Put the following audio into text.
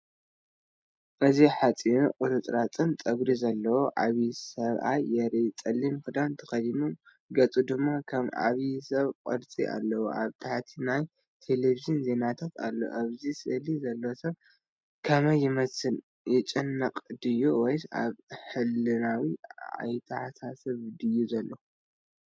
እዚ ሓጺርን ቁርጽራጽን ጸጉሪ ዘለዎ ዓቢ ሰብኣይ የርኢ። ጸሊም ክዳን ተኸዲኑ፡ ገጹ ድማ ከም ዓብይ ሰብ ቅርጺ ኣለዎ። ኣብ ታሕቲ ናይ ተለቪዥን ዜናታት ኣሎ። ኣብዚ ስእሊ ዘሎ ሰብ ከመይ ይመስል? ይጭነቕ ድዩ ወይስ ኣብ ሕልናዊ ኣተሓሳስባ እዩ ዘሎ?